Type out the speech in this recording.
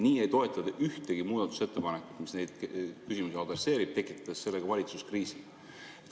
Nii ei toeta te ühtegi muudatusettepanekut, mis neid küsimusi adresseerib, ja tekitate sellega valitsuskriisi.